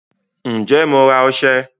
Ǹjẹ́ Mo ra ọsẹ